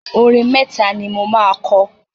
Orin mẹ́ta ni mo máa kọ.